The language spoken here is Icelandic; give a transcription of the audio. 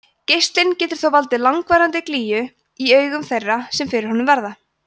geislinn getur þó valdið langvarandi glýju í augum þeirra sem fyrir honum verða